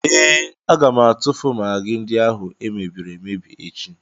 Ee, aga m atụfu magị ndị ahụ e mebiri emebi echi.